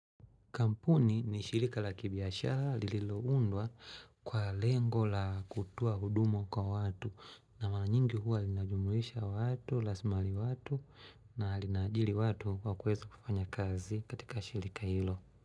Kampuni ni shirika la kibiashara lililo undwa kwa lengo la kutuo huduma kwa watu na mara nyingi huwa linajumuisha watu, lasmali watu na lina ajili watu kwa kuweza kufanya kazi katika shirika hilo.